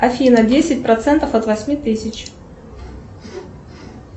афина десять процентов от восьми тысяч